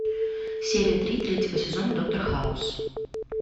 серия три третьего сезона доктор хаус